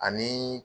Ani